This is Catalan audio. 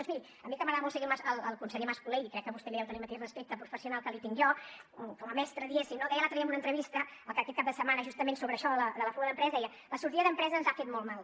doncs miri a mi que m’agrada molt seguir el conseller mas colell i crec que vostè li deu tenir el mateix respecte professional que li tinc jo com a mestre diguéssim no deia l’altre dia en una entrevista aquest cap de setmana justament sobre això de la fuga d’empreses deia la sortida d’empreses ens ha fet molt mal